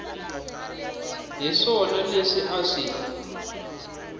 hi swona leswi a swi